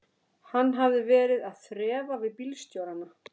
Hann hafði verið að þrefa við bílstjórana.